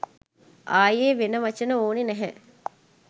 ආයෙ වෙන වචන ඕනෙ නෑ